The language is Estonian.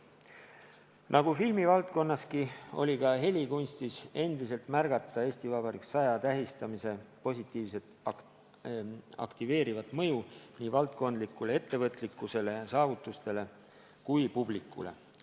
Nagu filmivaldkonnas, oli ka helikunstis märgata EV 100 tähistamise positiivset aktiveerivat mõju nii valdkondlikule ettevõtlikkusele ja saavutustele kui ka publikule.